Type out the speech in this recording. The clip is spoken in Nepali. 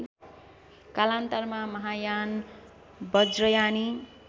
कालान्तरमा महायान बज्रयानी